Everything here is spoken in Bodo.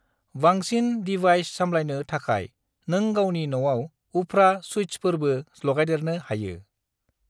बांसिन डिवाइस साम्लायनो थाखाय नों गावनि न'आव उफ्रा सुइत्सफोरबो लागायदेरनो हायो।